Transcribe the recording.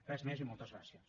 res més i moltes gràcies